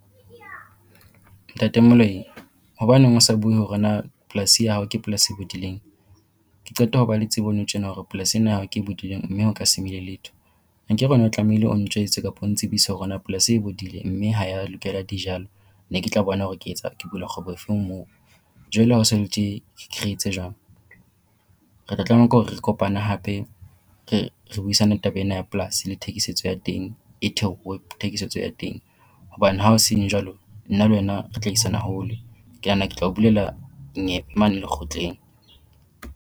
Ntate Moloi. Hobaneng o sa bue hore na polasi ee ya hao ke polasi e bodileng? Ke qeta ho ba le tsebo nou tjena hore polasi ena ya hao ke e bodileng mme ho ka se mele letho. Hankere wena o tlamehile o njwetse kapo o ntsebise hore na polasi e e bodile mme ha ya lokela dijalo? Ne ke tla bona hore ke etsa ke bula kgwebo efeng moo. Jwale ha ho so le tje re etse jwang? Re tla tlameha ke hore re kopane hape re re buisane taba ena ya polasi le thekisetso ya teng e theohe thekisetso ya teng, hobane ha ho seng jwalo nna le wena re tla isana hole. Ke nahana ke tla o bulela mane lekgotleng.